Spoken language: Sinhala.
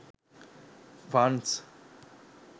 funs